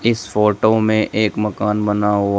इस फोटो में एक मकान बना हुआ--